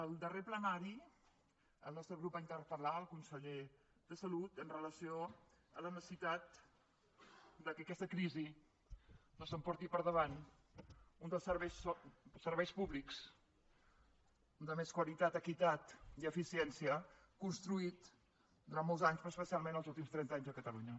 al darrer plenari el nostre grup va interpelconseller de salut amb relació a la necessitat que aquesta crisi no s’emporti per davant un dels serveis públics de més qualitat equitat i eficiència construït durant molts anys però especialment els últims trenta anys a catalunya